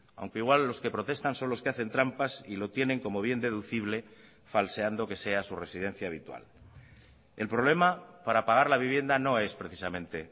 aunque igual los que protestan son los que hacen trampas y lo tienen como bien deducible falseando que sea su residencia habitual el problema para pagar la vivienda no es precisamente